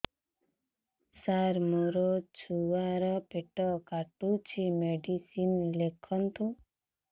ସାର ମୋର ଛୁଆ ର ପେଟ କାଟୁଚି ମେଡିସିନ ଲେଖନ୍ତୁ